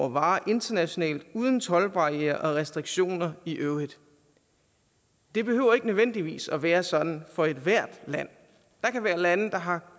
varer internationalt uden toldbarrierer og restriktioner i øvrigt det behøver ikke nødvendigvis at være sådan for ethvert land der kan være lande der har